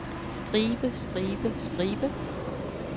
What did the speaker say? stribe stribe stribe